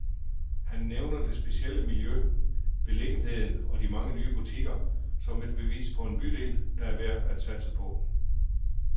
Han nævner det specielle miljø, beliggenheden og de mange nye butikker, som et bevis på en bydel, der er værd at satse på.